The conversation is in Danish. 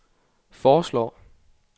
foreslår